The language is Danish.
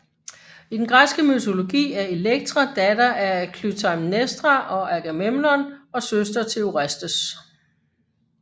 I den græske mytologi er Elektra datter af Klytaimnestra og Agamemnon og søster til Orestes